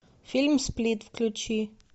фильм сплит включи